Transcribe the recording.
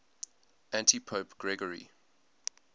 antipope gregory